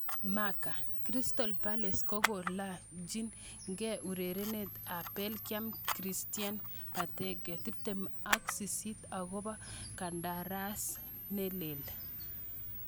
(Marca) Crystal Palace kongalachin ke ak urerenindet ab Belgium Christian Benteke, 28 akopo kandaras nelel.